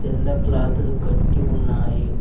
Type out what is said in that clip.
తెల్ల క్లాత్ లు కట్టి ఉన్నాయి.